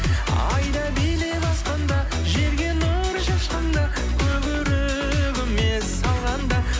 ай да билеп аспанда жерге нұрын шашқанда көк өрігіме салғанда